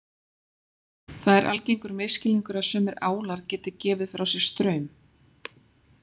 Það er algengur misskilningur að sumir álar geti gefið frá sér straum.